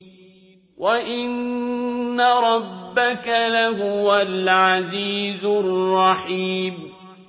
وَإِنَّ رَبَّكَ لَهُوَ الْعَزِيزُ الرَّحِيمُ